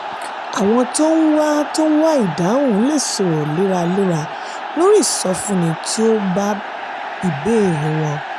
àwọn tó ń wá tó ń wá ìdáhùn lè sọ̀rọ̀ léraléra lórí ìsọfúnni tí ó bá ìbéèrè wọn.